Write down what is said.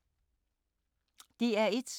DR1